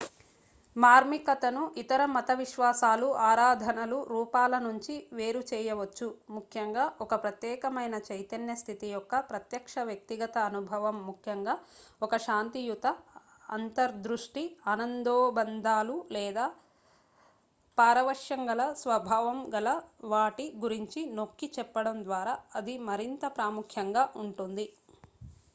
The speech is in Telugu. మార్మికతను ఇతర మత విశ్వాసాలు ఆరాధనల రూపాలనుంచి వేరుచేయవచ్చు. ముఖ్యంగా ఒక ప్రత్యేక మైన చైతన్య స్థితి యొక్క ప్రత్యక్ష వ్యక్తిగత అనుభవం ముఖ్యంగా ఒక శాంతియుత అంతర్దృష్టి ఆనందోబందాలు లేదా పారవశ్యంగల స్వభావం గల వాటి గురించి నొక్కి చెప్పడం ద్వారా అది మరింత ప్రాముఖ్యంగా ఉంటుంది